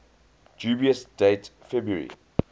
dubious date february